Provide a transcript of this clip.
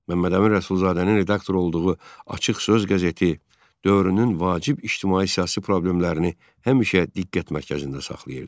Məhəmməd Əmin Rəsulzadənin redaktor olduğu "Açıq Söz" qəzeti dövrünün vacib ictimai-siyasi problemlərini həmişə diqqət mərkəzində saxlayırdı.